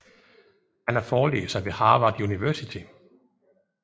Han er forelæser ved Harvard University